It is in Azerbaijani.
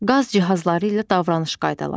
Qaz cihazları ilə davranış qaydaları.